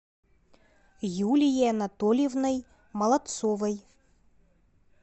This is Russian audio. юлией анатольевной молодцовой